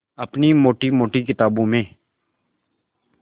अपनी मोटी मोटी किताबों में